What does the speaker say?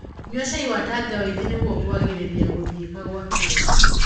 Nyua cai wa tangawithi nĩguo kuagirĩa guthiika kwa irio